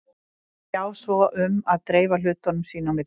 Þær sjá svo um að dreifa hlutunum sín á milli.